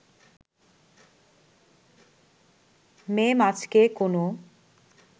মেম আজকে কোনো